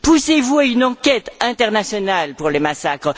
Poussez vous à une enquête internationale sur les massacres?